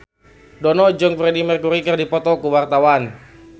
Dono jeung Freedie Mercury keur dipoto ku wartawan